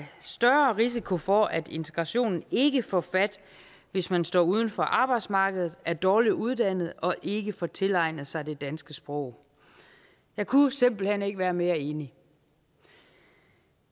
større risiko for at integrationen ikke får fat hvis man står uden for arbejdsmarkedet er dårlig uddannet og ikke får tilegnet sig det danske sprog jeg kunne simpelt hen ikke være mere enig